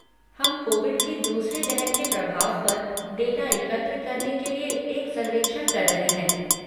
हम कोविड की दूसरी लहर के प्रभाव पर डेटा एकत्र करने के लिए एक सर्वेक्षण कर रहे हैं।